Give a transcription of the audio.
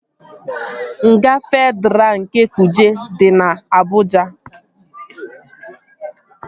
Nga Fedraa nke Kuje dị na Abụja